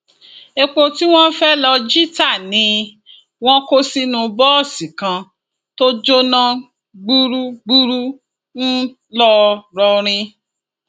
epo tí wọn fẹẹ lọọ jí ta ni wọn kó sínú bọọsì kan tó jóná gbúgbúrú ńlọrọrìn